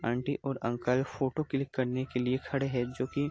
aunty और uncle photo click करने के लिए खड़े हैं जोकि --